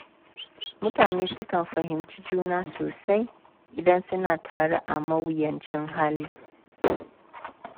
Mutane sukan fahimci juna sosai idan suna tare a mawuyacin hali.